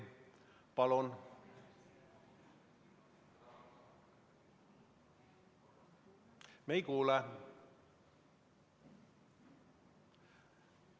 Palun!